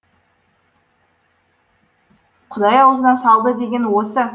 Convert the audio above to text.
құдай аузына салды деген осы